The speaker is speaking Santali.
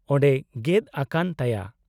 -ᱚᱸᱱᱰᱮ ᱜᱮᱫ ᱟᱠᱟᱱ ᱛᱟᱭᱟ ᱾